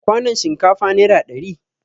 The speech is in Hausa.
Kwanon shinkafa nera ɗari